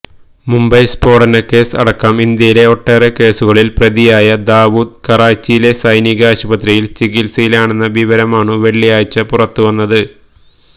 മുംബൈ സ്ഫോടനക്കേസ് അടക്കം ഇന്ത്യയിലെ ഒട്ടേറെ കേസുകളിൽ പ്രതിയായ ദാവൂദ് കറാച്ചിയിലെ സൈനിക ആശുപത്രിയിൽ ചികിത്സയിലാണെന്ന വിവരമാണു വെള്ളിയാഴ്ച പുറത്തുവന്നത്